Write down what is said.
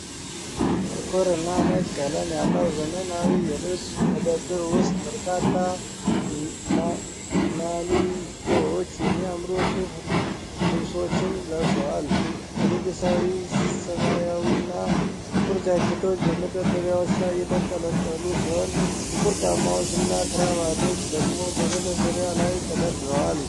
ጥቁር እና ነጭ ቀለም ያለው ዘመናዊ የልብስ መደብር ውስጥ፣ በርካታ ማኒኪኖች የሚያምሩ ሱፍ ልብሶችን ለብሰዋል። የንጉሣዊ ሰማያዊ እና ጥቁር ጃኬቶች በመደርደሪያዎች ላይ የተንጠለጠሉ ሲሆን ጥቁር ጫማዎች እና ክራቫቶች ደግሞ በመደርደሪያ ላይ ተደርድረዋል።